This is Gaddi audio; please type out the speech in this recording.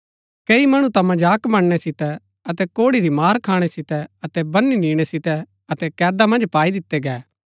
कई मणु ता मजाक बणनै सितै अतै कोड़ै री मार खाणै सितै अतै बनी निणै सितै अतै कैदा मन्ज पाई दितै गै